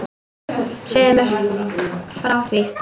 Segðu mér þá frá því.